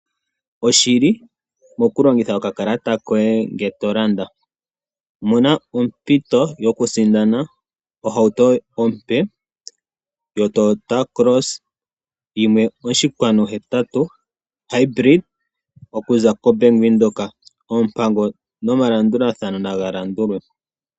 Oshili mokulongitha okakalata koye ngele to landa. Mona ompito yokusindana ohauto ompe yo Toyata Cross 1.8 Hybrid okuza koBank Windhoek. Oompango nomalandulathano naga landulwe.